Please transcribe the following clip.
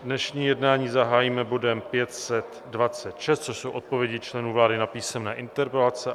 Dnešní jednání zahájíme bodem 526, což jsou odpovědi členů vlády na písemné interpelace.